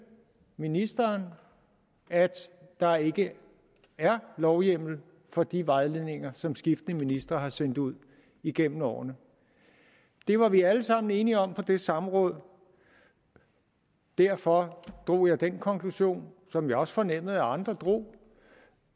ministeren at der ikke er lovhjemmel for de vejledninger som skiftende ministre har sendt ud igennem årene det var vi alle sammen enige om på det samråd og derfor drog jeg den konklusion som jeg også fornemmede at andre drog